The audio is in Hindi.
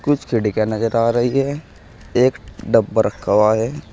कुछ खिड़कियां नजर आ रही है एक डब्बा रखा हुआ है।